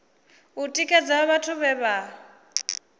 u tikedza vhathu vhe vha